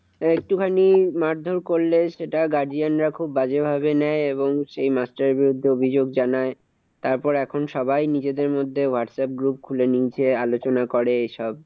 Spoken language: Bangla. একটুখানি মারধর করলে সেটা guardian রা খুব বাজে ভাবে নেয় এবং সেই মাস্টার বিরুদ্ধে অভিযোগ জানায়। তারপর এখন সবাই নিজেদের মধ্যে whatsapp group খুলে নিজে আলোচনা করে এইসব।